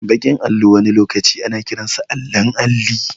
Baki allo wani lokaci ana kiransa allon alli